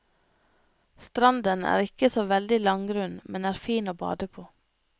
Stranden er ikke så veldig langgrunn, men er fin å bade på.